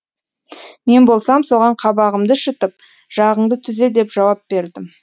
мен болсам соған қабағымды шытып жағаңды түзе деп жауап бердім